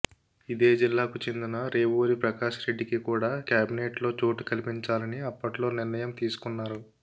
ఇదే జిల్లాకు చెందిన రేవూరి ప్రకాష్ రెడ్డికి కూడ కేబినెట్లో చోటు కల్పించాలని అప్పట్లో నిర్ణయం తీసుకొన్నారు